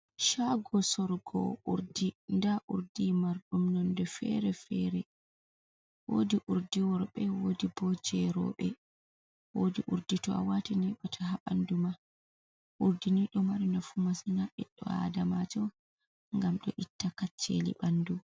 caago soorugo urdi ndaa urdi marɗum nonde feere-feere, woodi urdi worɓe wodi boo jey rooɓe, woodi urdi to a waati neeɓataa haa ɓanndu ma, urdi ni ɗo mari nafu masin haa ɓanndu ɓii aadamaajo ngam ɗo itta kacceli ɓanndu.